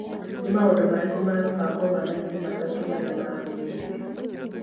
Nĩ maũndũ marĩkũ mekũbangwo mathaa-inĩ matatũ marĩa marũmĩrĩire